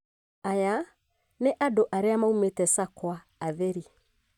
Aya nĩ andũ arĩa maumĩte sakwa atheri